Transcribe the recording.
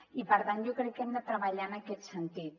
i per tant jo crec que hem de treballar en aquest sentit